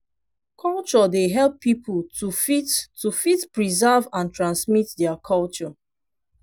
culture dey help pipo to fit to fit preserve and transmit their culture